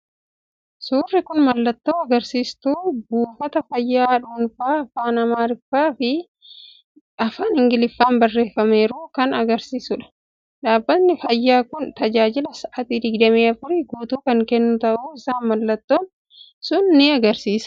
Suurri kun mallattoo agarsiistuu buufata fayyaa dhuunfaa afaan Amaariffaa fi afaan Ingiliffaan barreeffameeru kan agarsiisudha. Dhaabbatni fayyaa kun tajaajila sa'aatii 24 guutuu kan kennu ta'uu isaa mallattoon sun ni agarsiisa.